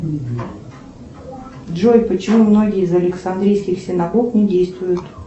джой почему многие из александрийских синагог не действуют